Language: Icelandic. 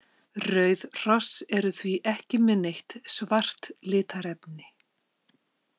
Rauð hross eru því ekki með neitt svart litarefni.